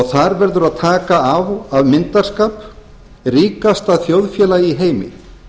þar verður að taka á af myndarskap ríkasta þjóðfélag í heimi